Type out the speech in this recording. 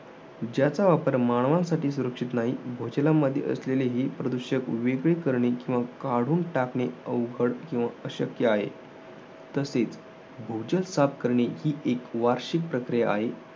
ज्याचा वापर मानवासाठी सुरक्षित नाही. भूजलामाधी असलेली हि प्रदूषक वेगळी करणे किंवा काढून टाकणे अवघड किंवा अशक्य आहे. तसेच भूजल साफ करणे ही एक वार्षिक प्रक्रिया आहे.